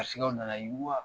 Garisɛw nana yiriwa!